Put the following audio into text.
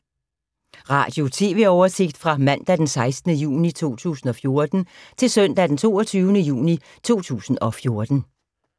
Radio/TV oversigt fra mandag d. 16. juni 2014 til søndag d. 22. juni 2014